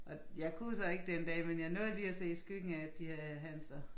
Og jeg kunne jo så ikke den dag men jeg nåede lige at se skyggen af at de havde Hans og